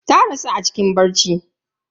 Ta rasu a cikin bacci.